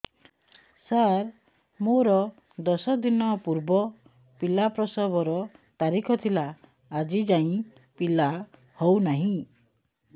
ସାର ମୋର ଦଶ ଦିନ ପୂର୍ବ ପିଲା ପ୍ରସଵ ର ତାରିଖ ଥିଲା ଆଜି ଯାଇଁ ପିଲା ହଉ ନାହିଁ